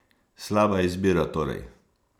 Slaba izbira torej!